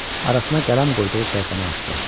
Arasına qələm qoyduğu səhifəni açdı.